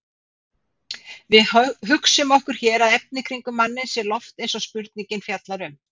Við hugsum okkur hér að efnið kringum manninn sé loft eins og spurningin fjallar um.